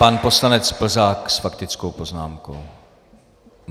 Pan poslanec Plzák s faktickou poznámkou.